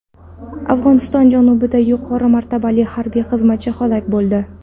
Afg‘oniston janubida yuqori martabali harbiy xizmatchi halok bo‘ldi.